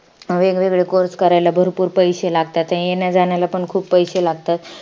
वेगवेगळे course करायला भरपूर पैशे लागतात. ते येण्याजाण्याला पण भरपूर पैशे लागतात.